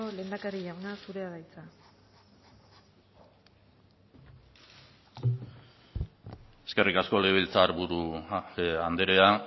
lehendakari jauna zurea da hitza eskerrik asko legebiltzar buru andrea